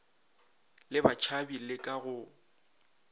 le batšhabi le ka go